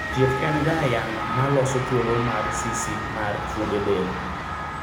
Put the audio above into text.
thieth en ga yang'o ma loso thuolo mar sisi mar fuonde del